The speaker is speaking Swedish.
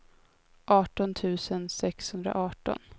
arton tusen sexhundraarton